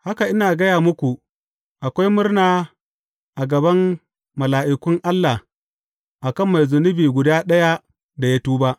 Haka, ina gaya muku, akwai murna a gaban mala’ikun Allah a kan mai zunubi guda ɗaya, da ya tuba.